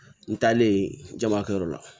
N taalen jamakɛyɔrɔ la